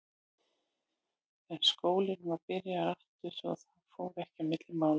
En skólinn var byrjaður aftur svo að það fór ekki á milli mála.